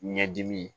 Ɲɛdimi